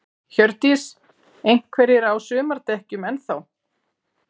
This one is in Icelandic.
Hjördís: Einhverjir á sumardekkjum enn þá?